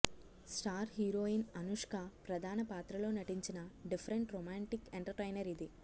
star heroine Anushka ప్రధాన పాత్రలో నటించిన డిఫరెంట్ రొమాంటిక్ ఎంటర్టైనర్ ఇది